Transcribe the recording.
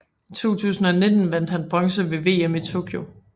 I 2019 vandt han bronze ved VM i Tokyo